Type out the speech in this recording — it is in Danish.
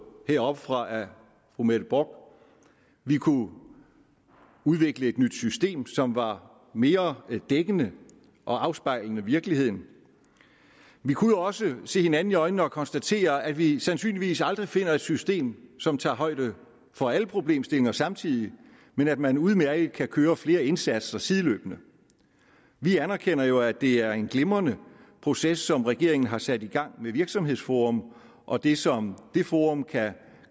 heroppefra af fru mette bock vi kunne udvikle et nyt system som var mere dækkende og afspejlende virkeligheden vi kunne også se hinanden i øjnene og konstatere at vi sandsynligvis aldrig finder et system som tager højde for alle problemstillinger samtidig men at man udmærket kan køre flere indsatser sideløbende vi anerkender jo at det er en glimrende proces som regeringen har sat i gang med virksomhedsforum og det som det forum kan